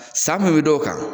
San min bɛ da o kan.